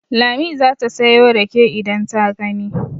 Lami za ta sayo rake idan ta gani.